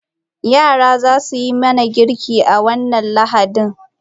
Yara za su yi mana girki a wannan Lahadin.